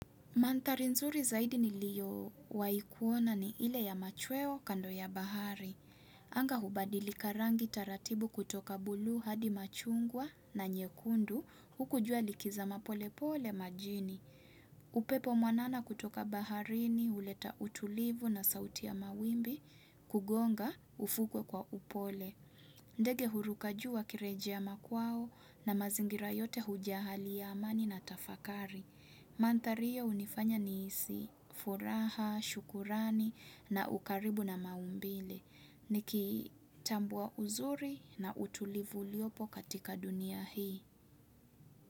Mandhari nzuri zaidi ni liyo waikuona ni ile ya machweo kando ya bahari. Anga hubadili karangi taratibu kutoka bluu hadi machungwa na nyekundu hukujua likiza mapolepole majini. Upepo mwanana kutoka baharini huleta utulivu na sauti ya mawimbi kugonga ufukwe kwa upole. Ndege hurukajuu wakirejea makwao na mazingira yote hujaa hali ya amani na tafakari. Mandhari hiyo hunifanya nihisi, furaha, shukurani na ukaribu na maumbile. Niki tambua uzuri na utulivu uliopo katika dunia hii.